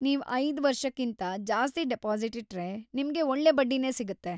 ನೀವ್ ಐದು ವರ್ಷಕಿಂತಾ‌ ಜಾಸ್ತಿ ಡಿಪಾಸಿಟ್‌ ಇಟ್ರೆ, ನಿಮ್ಗೆ ಒಳ್ಳೇ ಬಡ್ಡಿನೇ ಸಿಗತ್ತೆ.